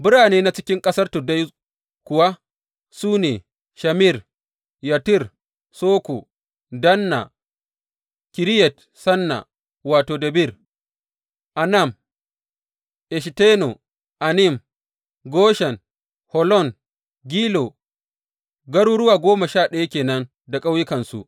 Birane na cikin ƙasar tuddai kuwa, su ne, Shamir, Yattir, Soko, Danna, Kiriyat Sanna wato, Debir, Anab, Eshtemo, Anim, Goshen, Holon, Gilo, garuruwa goma sha ɗaya ke nan da ƙauyukansu.